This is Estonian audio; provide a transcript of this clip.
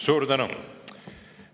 Suur tänu!